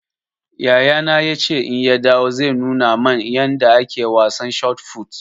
Yayana ya ce in ya dawo zai nuna man yanda ake wasan shot fut